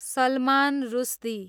Salman Rushdie